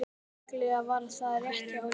Já, líklega var það rétt hjá Lenu.